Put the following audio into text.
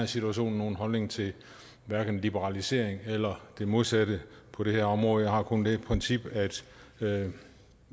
situation nogen holdning til liberalisering eller det modsatte på det her område jeg har kun det princip at at